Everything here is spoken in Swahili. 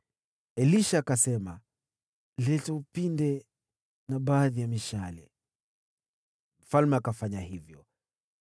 Elisha akasema, “Leta upinde na baadhi ya mishale,” naye mfalme akafanya hivyo.